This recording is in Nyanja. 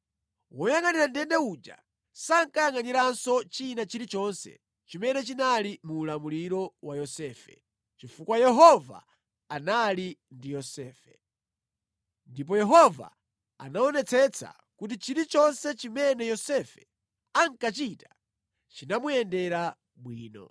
Woyangʼanira ndende uja sankayangʼaniranso china chilichonse chimene chinali mu ulamuliro wa Yosefe, chifukwa Yehova anali ndi Yosefe. Ndipo Yehova anaonetsetsa kuti chilichonse chimene Yosefe ankachita chimuyendere bwino.